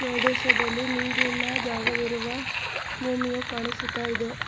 ಪ್ರದೇಶದಲ್ಲಿ ನೀರಿನ ಜಾಗವಿರುವ ಭೂಮಿಯು ಕಾಣಿಸುತ್ತ ಇದೆ.